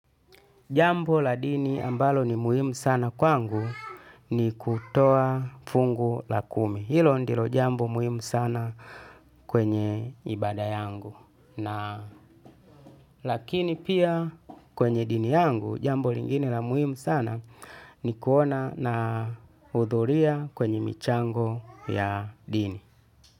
Jambo la dini ambalo ni muhimu sana kwangu ni kutoa fungu la kumi. Hilo ndilo jambo muhimu sana kwenye ibada yangu. Lakini pia kwenye dini yangu jambo lingine la muhimu sana ni kuona na hudhuria kwenye michango ya dini.